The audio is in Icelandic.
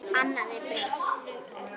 Annað er breytt.